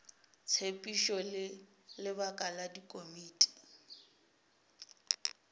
tshepedišo le lebaka la dikomiti